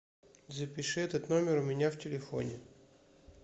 запиши этот номер у меня в телефоне